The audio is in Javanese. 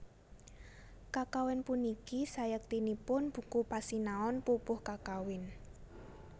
Kakawin puniki sayektinipun buku pasinaon pupuh kakawin